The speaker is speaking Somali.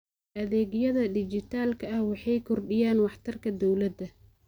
Adeegyada dijitaalka ah waxay kordhiyaan waxtarka dawladda.